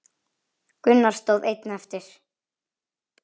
Gunnar stóð einn eftir.